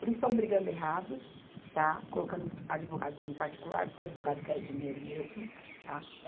Eles estão brigando errados, tá, colocando advogados no particular, porque o advogado quer é dinheiro mesmo, tá.